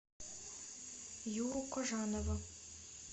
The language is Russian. юру кожанова